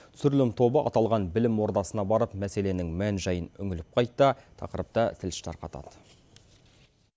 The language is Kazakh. түсірілім тобы аталған білім ордасына барып мәселенің мән жайын үңіліп қайтты тақырыпты тілші тарқатады